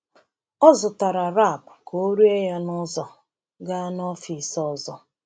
Ọ zụtara wrap ka ọ rie ya n’ụzọ gaa n’ọfịs ọzọ.